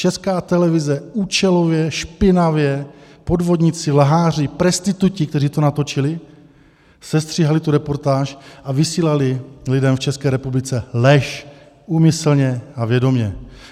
Česká televize účelově, špinavě, podvodníci, lháři, prestituti, kteří to natočili, sestříhali tu reportáž a vysílali lidem v České republice lež, úmyslně a vědomě.